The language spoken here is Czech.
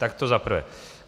Tak to za prvé.